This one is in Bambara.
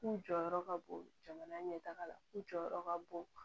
K'u jɔyɔrɔ ka bon jamana ɲɛtaga la u jɔyɔrɔ ka bon